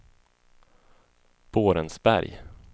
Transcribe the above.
Borensberg